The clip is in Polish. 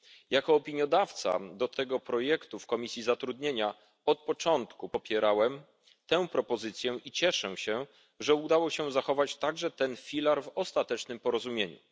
Jako opiniodawca do tego projektu w Komisji Zatrudnienia od początku popierałem tę propozycję i cieszę się, że udało się zachować także ten filar w ostatecznym porozumieniu.